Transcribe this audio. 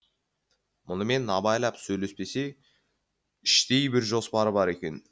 мұнымен абайлап сөйлеспесе іштей бір жоспары бар екен